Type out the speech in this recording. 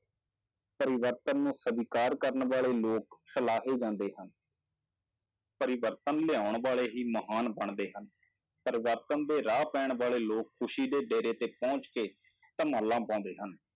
ਪਰਿਵਰਤਨ ਨੂੰ ਸਵੀਕਾਰ ਕਰਨ ਵਾਲੇ ਲੋਕ ਸਲਾਹੇ ਜਾਂਦੇ ਹਨ ਪਰਿਵਰਤਨ ਲਿਆਉਣ ਵਾਲੇ ਹੀ ਮਹਾਨ ਬਣਦੇ ਹਨ, ਪਰਿਵਰਤਨ ਦੇ ਰਾਹ ਪੈਣ ਵਾਲੇ ਲੋਕ ਖ਼ੁਸ਼ੀ ਦੇ ਡੇਰੇ ਤੇ ਪਹੁੰਚ ਕੇ ਧਮਾਲਾਂ ਪਾਉਂਦੇ ਹਨ।